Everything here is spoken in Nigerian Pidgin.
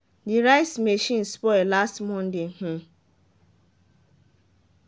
the rice machine spoil last monday. um